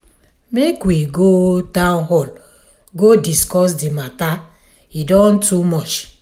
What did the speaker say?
make we go town hall go discuss the matter e don too much.